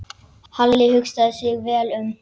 Halli hugsaði sig vel um.